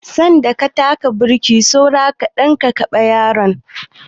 Sanda ka taka burki saura kaɗan ka kaɗe yaron nan.